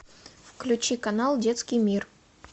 включи канал детский мир